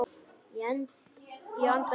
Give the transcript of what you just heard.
Ég anda léttar.